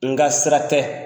Nga sira tɛ.